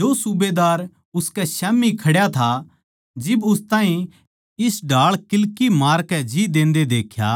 जो सूबेदार उसकै स्याम्ही खड्या था जिब उस ताहीं इस ढाळ किल्की मारकै जी देन्दे देख्या